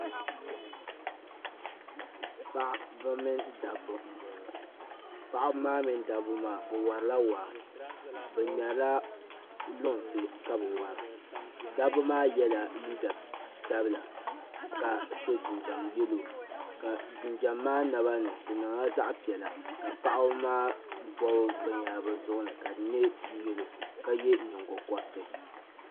Paɣaba mini daba n bɔŋɔ. paɣaba maa mini daba maa, bɛ warila waa bɛ ŋmerila lunsi ka bɛ wara, daba maa yela liiga sabila, ka so jinjam yelɔw,. ka jinjam, maa nabani nyɛ zaɣi piɛla ka paɣib maa bɔbi bɛn yahiri bɛ zuɣu ka di nyɛ yelɔw ka ye nyiŋgo koriti.